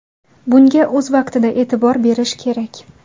Bunga o‘z vaqtida e’tibor berish kerak.